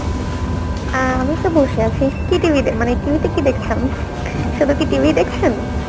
অ্যাঁ আমি তো বসে আছি, কী TV মানে TV তে কী দেখছেন? শুধু কি TV দেখছেন?